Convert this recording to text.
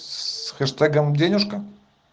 с хэштегом денежка